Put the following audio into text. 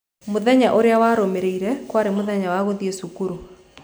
Mũthenya ũrĩa warũmĩrĩire kwarĩ mũthenya wa gũthiĩ cukuru.